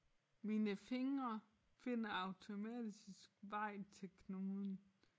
Mine fingre finder automatisk vej til knuden